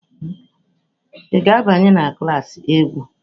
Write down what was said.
Ị ga-abanye na klas egwu?